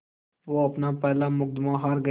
वो अपना पहला मुक़दमा हार गए